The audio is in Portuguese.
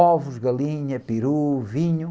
Ovos, galinha, peru, vinho.